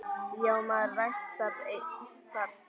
Já, maður ræktar sinn garð.